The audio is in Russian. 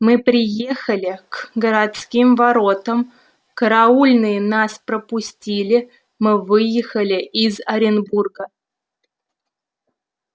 мы приехали к городским воротам караульные нас пропустили мы выехали из оренбурга